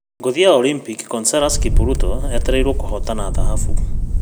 Ngũthi ya olimpiki Conseslus Kipruto etereirũo kũhotana thahabu